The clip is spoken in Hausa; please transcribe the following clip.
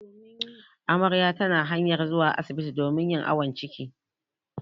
Amarya tana hanyar zuwa asibti domin yin awon ciki.